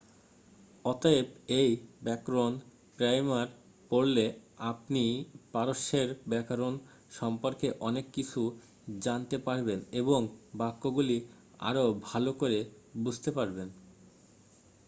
অতএব এই ব্যকরণ প্রাইমার পড়লে আপনি পারস্যের ব্যকরণ সম্পর্কে অনেক কিছু জানতে পারবেন এবং বাক্যগুলি আরও ভাল করে বুঝতে পারবেন